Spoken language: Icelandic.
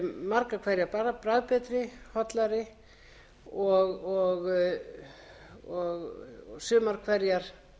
vörur eru margar hverjar bara bragðbetri hollari og sumar hverjar betri